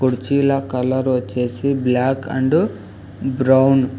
కుర్చీల కలర్ వచ్చేసి black and brown .